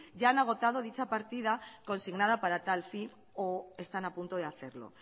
ya han agotado dicha partida consignada para tal fin o están a punto de hacerlo